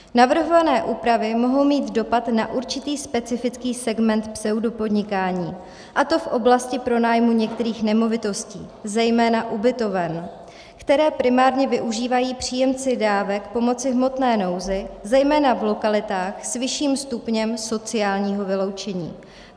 Navrhované úpravy mohou mít dopad na určitý specifický segment pseudopodnikání, a to v oblasti pronájmu některých nemovitostí, zejména ubytoven, které primárně využívají příjemci dávek pomoci v hmotné nouzi zejména v lokalitách s vyšším stupněm sociálního vyloučení.